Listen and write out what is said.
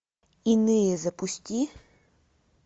иные запусти